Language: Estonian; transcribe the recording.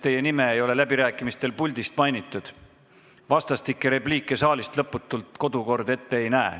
Teie nime ei ole läbirääkimistel puldist mainitud ja lõputut vastastikuste repliikide vahetamist saalis kodukord ette ei näe.